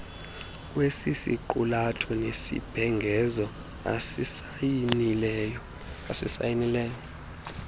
kwesisiqulatho nesibhengezo asisayinileyo